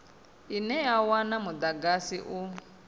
ine ya wana mudagasi u